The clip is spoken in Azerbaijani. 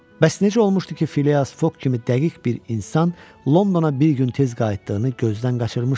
Bəs necə olmuşdu ki, Filias Foq kimi dəqiq bir insan Londona bir gün tez qayıtdığını gözdən qaçırmışdı?